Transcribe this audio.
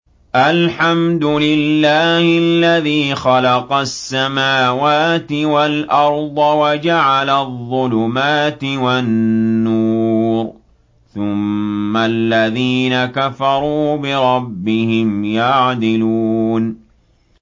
الْحَمْدُ لِلَّهِ الَّذِي خَلَقَ السَّمَاوَاتِ وَالْأَرْضَ وَجَعَلَ الظُّلُمَاتِ وَالنُّورَ ۖ ثُمَّ الَّذِينَ كَفَرُوا بِرَبِّهِمْ يَعْدِلُونَ